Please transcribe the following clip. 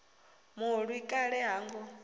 mulwi wa kale ha ngo